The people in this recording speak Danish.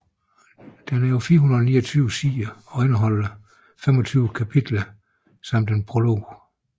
Den er på 429 sider og indeholder 25 kapitler samt en prolog